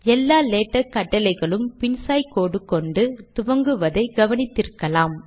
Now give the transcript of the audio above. எல்லா லேடக் கட்டளைகளும் பின் சாய் கோடு கொண்டு துவங்குவதை கவனித்திருக்க்கலாம்